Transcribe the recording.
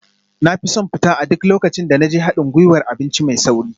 Na fi son fita a duk lokacin da na je haɗin gwiwar abinci mai sauri